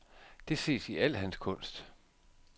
Det ses i al hans kunst.